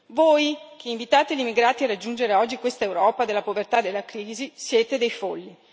Voi, invitate gli immigrati a raggiungere oggi questa Europa della povertà, della crisi, siete dei folli.